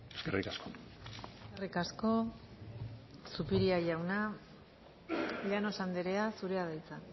eskerrik asko eskerrik asko zupiria jauna llanos andrea zurea da hitza